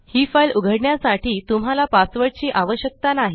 हि फाइल उघडण्यासाठी तुम्हाला पासवर्ड ची आवश्यकता नाही